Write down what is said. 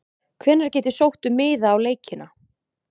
Hvenær get ég sótt um miða á leikina?